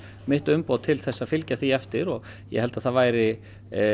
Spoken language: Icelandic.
mitt umboð til að fylgja því eftir og ég held að það væri